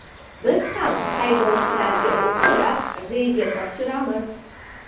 Biz ham haydovchilarga o‘xshab reja topshiramiz.